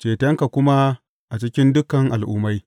cetonka kuma a cikin dukan al’ummai.